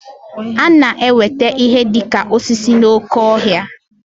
A na-enweta ihe dị ka osisi n'oké ọhịa